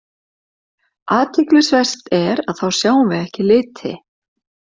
Athyglisvert er að þá sjáum við ekki liti.